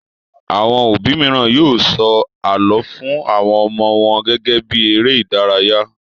Àwọn òbí mìíràn yóò sọ àlọ́ fun àwọn ọmọ wọn gẹ́gẹ́ bí eré-idárayá.